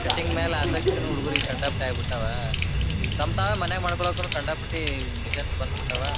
Cutting ಮ್ಯಾಲ ಆಸಕ್ತಿನೂ ಹುಡುಗರಿಗ ಕಂಡಾಪಟ್ಟೆ ಆಗಿ ಬಿಟ್ಟಾವ ಈಗ ತಮ್ ತಾವ ಮನ್ಯಾಗ್ ಮಾಡಕೊಳ್ಳಕುನು ಕಂಡಾಪಟ್ಟಿ ಮೆಶಿನ್ಸ್ ಬಂದ ಬಿಟ್ಟಾವ.